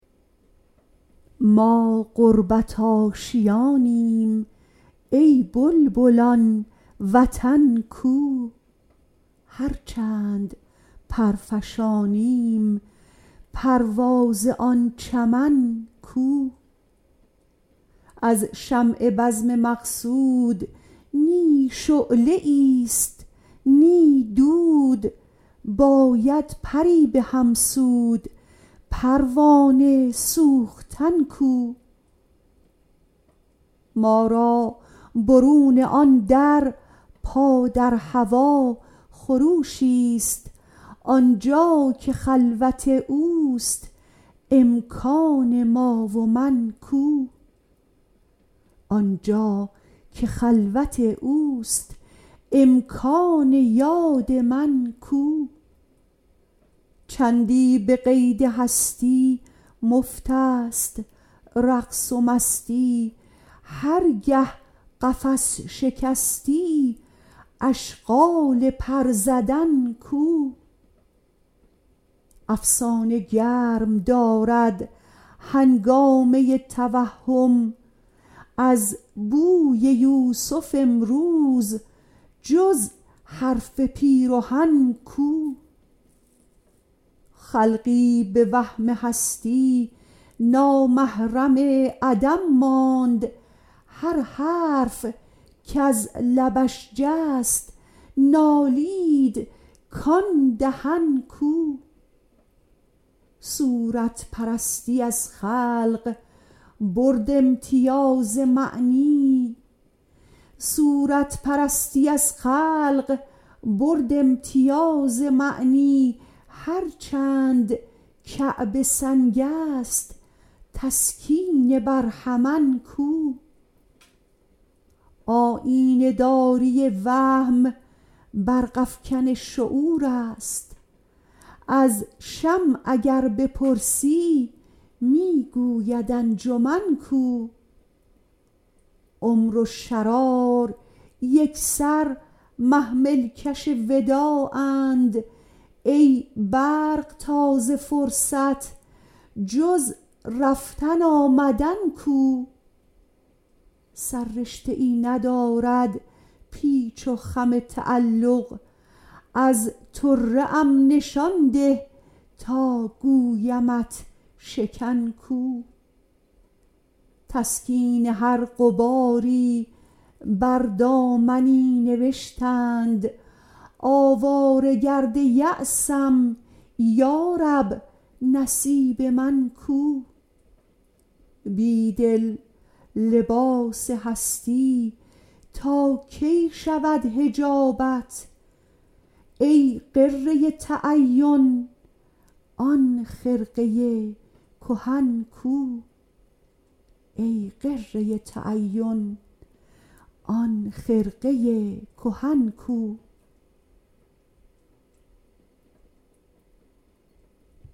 ما غربت آشیانیم ای بلبلان وطن کو هر چند پر فشانیم پرواز آن چمن کو از شمع بزم مقصود نی شعله ای ست نی دود باید پری به هم سود پروانه سوختن کو ما را برون آن در پا در هوا خروشی ست آنجاکه خلوت اوست امکان یاد من کو چندی به قید هستی مفت است رقص و مستی هر گه قفس شکستی اشغال پر زدن کو افسانه گرم دارد هنگامه توهم از بوی یوسف امروز جز حرف پیرهن کو خلقی به وهم هستی نامحرم عدم ماند هر حرف کز لبش جست نالید کان دهن کو صورت پرستی از خلق برد امتیاز معنی هر چند کعبه سنگ است تسکین برهمن کو آیینه داری وهم برق افکن شعور است از شمع اگر بپرسی می کند انجمن کو عمر و شرار یکسر محمل کش وداعند ای برقتاز فرصت جز رفتن آمدن کو سر رشته ای ندارد پیچ و خم تعلق از طره ام نشان ده تا گویمت شکن کو تسکین هر غباری بر دامنی نوشتند آواره گرد یأسم یارب نصیب من کو بید ل لباس هستی تاکی شود حجابت ای غره تعین آن خرقه کهن کو